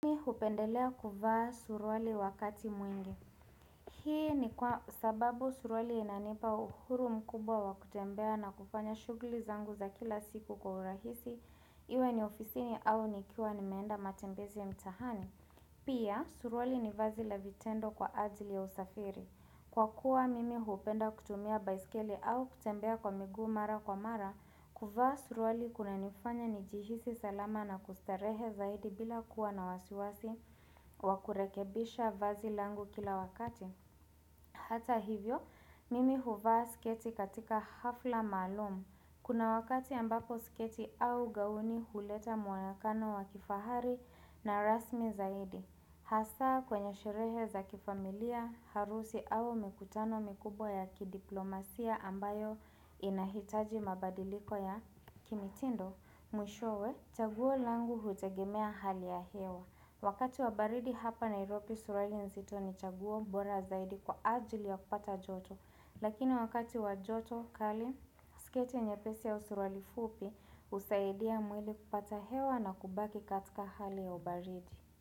Mimi hupendelea kuvaa surwali wakati mwingi. Hii ni kwa sababu surwali inanipa uhuru mkubwa wa kutembea na kufanya shuguli zangu za kila siku kwa urahisi. Iwe ni ofisini au nikiwa ni meenda matembezi ya mtahani. Pia, surwali ni vazi la vitendo kwa ajili ya usafiri. Kwa kuwa mimi hupenda kutumia baisikeli au kutembea kwa miguu mara kwa mara, kuvaa surwali kuna nifanya ni jihisi salama na kustarehe zaidi bila kuwa na wasiwasi wakurekebisha vazi langu kila wakati. Hata hivyo, mimi huvaa sketi katika hafla maalum. Kuna wakati ambako sketi au gauni huleta muanakano wa kifahari na rasmi zaidi. Hasa kwenye sherehe za kifamilia, harusi au mikutano mikubwa ya kidiplomasia ambayo inahitaji mabadiliko ya kimitindo, mwishowe chaguo langu hutegemea hali ya hewa. Wakati wabaridi hapa nairobi surali nzito ni chaguo bora zaidi kwa ajili ya kupata joto. Lakini wakati wajoto kali, sketi nyepesi au suruali fupi, usaidia mwili kupata hewa na kubaki katika hali ya ubaridi.